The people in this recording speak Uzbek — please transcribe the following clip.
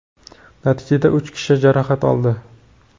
natijada uch kishi jarohat oldi.